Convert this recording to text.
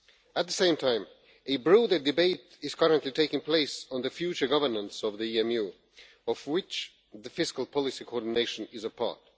At the same time, a broader debate is currently taking place on the future governance of the EMU, of which the fiscal policy coordination is a part.